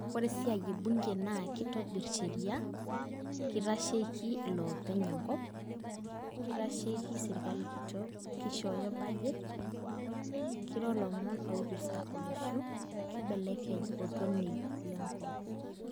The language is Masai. Ore esiai ebunke na kitobirr sheria kitasheiki iloopeny enkop kitasheiki sirkali kitok kishooyo budget kiro ilomon oipirta olosho kibelekeny oltonei lenkop.